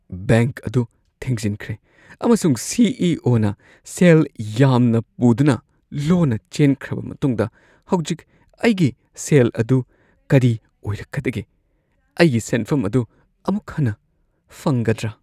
Bank ꯑꯗꯨ ꯊꯤꯡꯖꯤꯟꯈ꯭ꯔꯦ ꯑꯃꯁꯨꯡ ꯁꯤ. ꯏ. ꯑꯣ. ꯅ ꯁꯦꯜ ꯌꯥꯝꯅ ꯄꯨꯗꯨꯅ ꯂꯣꯟꯅ ꯆꯦꯟꯈ꯭ꯔꯕ ꯃꯇꯨꯡꯗ ꯍꯧꯖꯤꯛ ꯑꯩꯒꯤ ꯁꯦꯜ ꯑꯗꯨ ꯀꯔꯤ ꯑꯣꯏꯔꯛꯀꯗꯒꯦ? ꯑꯩꯒꯤ ꯁꯦꯟꯐꯝ ꯑꯗꯨ ꯑꯃꯨꯛ ꯍꯟꯅ ꯐꯪꯒꯗ꯭ꯔꯥ? (ꯃꯔꯨꯞ ꯱)